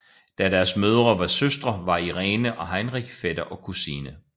Da deres mødre var søstre var Irene og Heinrich fætter og kusine